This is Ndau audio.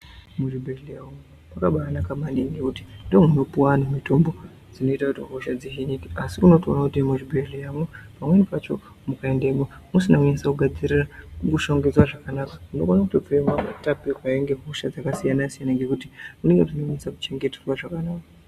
Muzvibhedlera makabanaka maningi ,nokuti ndomuno munopuwa anhu mitombo dzinoita kuti hosha dzizhinji, asi unotowona kuti muzvibhedleramo pamweni pacho ukaendamo usinekunyaso kugadzirira, kushongedzwe zvakanaka unotobvemo watapirirwa nehosha dzakasiyana siyana ngekuti unenge usina kunyaso kuchengetewa zvakanaka.